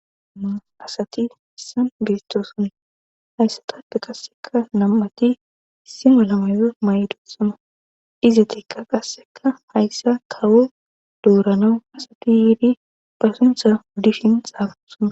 Asati hessan biistooson hayssatada qasseka nam7ati ssimo lamayo may7dossana izetekka qasseka hayssa kawo dooranau asati yiidi pasintha wuddishin xaafasana.